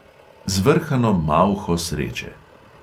Zvrhano malho sreče.